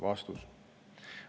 " Vastus.